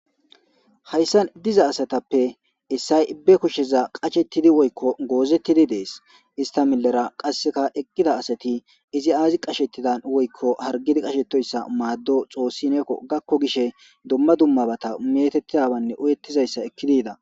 Hayssan diza asatappe essay be kushsheza qashettidi woykko goozettidi dees istamilera qasseka eqqida asati izi aazi qashettidan woykko hargidi qashetoyssa maaddo xoossi neekko gakko gishe dumma dummabata metettiyabanne oyettizayssa ekkidida.